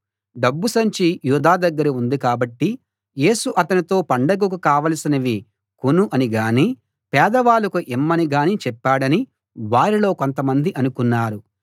డబ్బు సంచి యూదా దగ్గర ఉంది కాబట్టి యేసు అతనితో పండగకు కావలసినవి కొను అని గాని పేదవాళ్ళకు ఇమ్మని గాని చెప్పాడని వారిలో కొంతమంది అనుకున్నారు